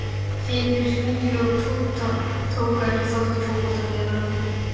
Synir Fíu og Tóta tóku ekki þátt í fótboltafélaginu.